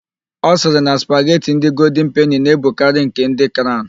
Ọ sịrị na spagheti ndị goldin peni na-ebukarị nke ndị craụn.